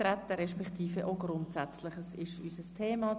Auch Grundsätzliches ist unser Thema.